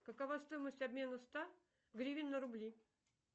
какова стоимость обмена ста гривен на рубли